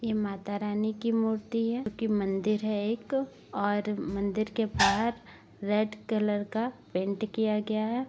ये माता रानी की मूर्ति है जो की मंदिर है एक और मंदिर के बाहर रेड कलर का पेंट किया गया है |